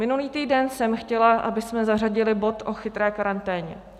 Minulý týden jsem chtěla, abychom zařadili bod o chytré karanténě.